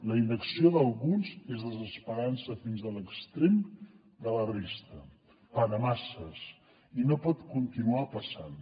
la inacció d’alguns és desesperança fins a l’extrem de la resta per a masses i no pot continuar passant